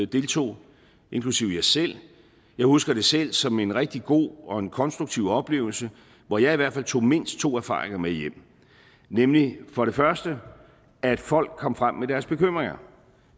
deltog inklusive jeg selv jeg husker det selv som en rigtig god og en konstruktiv oplevelse hvor jeg i hvert fald tog mindst to erfaringer med hjem nemlig for det første at folk kom frem med deres bekymringer